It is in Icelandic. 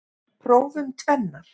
Prófum tvennar.